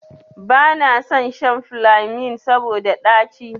Banason shan filemin saboda ɗaci.